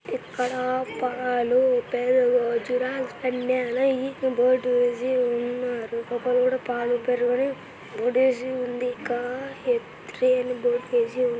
ఇక్కడ పాలు పెరుగు వెన్న నెయ్యి బోర్డు వేసి ఉన్నారు. లోపల కూడా పాలు పెరుగు అని బోర్డు ఏసి ఉంది ఇంకా--